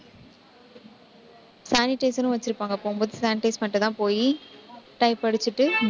sanitizer உம் வச்சிருப்பாங்க போகும்போது sanitize பண்ணிட்டுதான் போயி type அடிச்சிட்டு